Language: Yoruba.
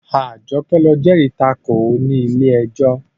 Àjọkẹ́ ló jẹ́rìí tako ní ilé ẹjọ́